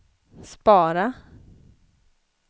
spara